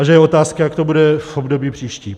A že je otázka, jak to bude v období příštím.